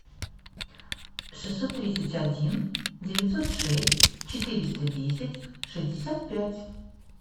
шестьсот тридцать один девятьсот шесть четыреста десять шестьдесят пять